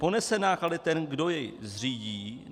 Ponese náklady ten, kdo jej zřídí?